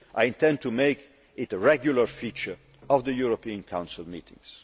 I intend to make this a regular feature of the European Council meetings.